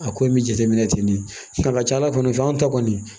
A ko in bɛ jateminɛ ten de nka a ka ca ala fɛ an ta kɔni